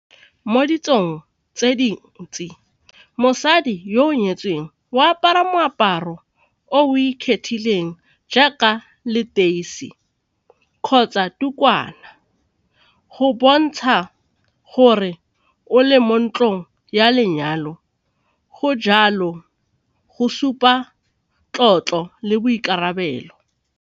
Mo ditsong tse di ntsi mosadi yo o nyetsweng o apara moaparo o jaaka leteisi kgotsa ditukwana go bontsha gore o le mo ntlong ya lenyalo go jalo go supa tlotlo le boikarabelo.